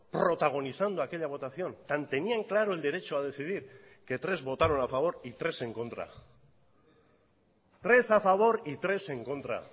protagonizando aquella votación tan tenían claro el derecho a decidir que tres votaron a favor y tres en contra tres a favor y tres en contra